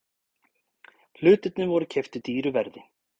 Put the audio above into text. Hlutirnir voru keyptir dýru verði.